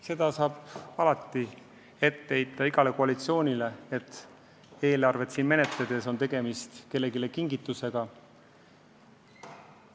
Seda saab alati ette heita igale koalitsioonile, et eelarvet koostades tahetakse kellelegi kingitusi teha.